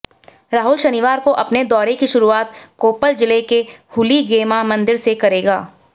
राहुल शनिवार को अपने दौरे की शुरुआत कोप्पल जिले के हुलीगेमा मंदिर से करेंगे